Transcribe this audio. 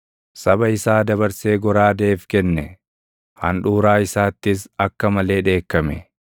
Saba isaa dabarsee goraadeef kenne; handhuuraa isaattis akka malee dheekkame.